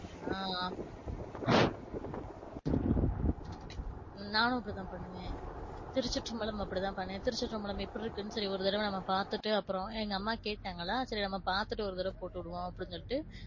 ஆஹ் நானும் அப்படி தான் பண்ணுவேன் திருச்சிற்றம்பலம் அப்டித்தான் பண்ணேன். திருச்சிற்றம்பலம் எப்படி இருக்குனு சொல்லி ஒரு தரவ பாத்துட்டு அப்பறம் எங்க அம்மா கேட்டாங்களா சரி நாம பாத்துட்டு ஒரு தரவ போட்டுவிடுவோம் அப்படினு சொல்லிட்டு,